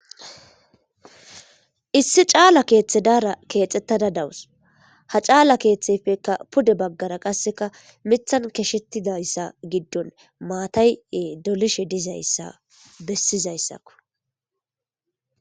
issi caala keeththe daara keexxettada dawus ha caala keeththefekka pude baggara qasseka mithan keshettidayssa giddon maatay7ee dolishe dizayssa bessizayssakko